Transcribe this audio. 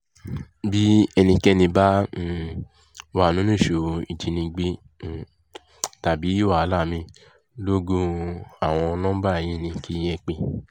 bí ẹnikẹ́ni bá um wà nínú ìṣòro ìjínigbé um tàbí wàhálà mí-ín logún àwọn nọmba yìí ni kẹ̀ ẹ́ pé